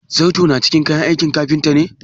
zarto na cikin kayan aikin kafinta ne?